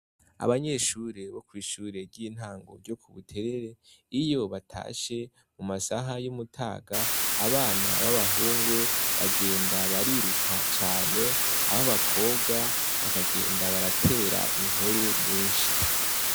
Abanyeshure bo mwishure ryintango ryo kubuterere iyo batashe mumamasaha yokumutaga abana babahungu bagenda bariruka cane ababakobwa bagenda baraterana inkuru nyinshi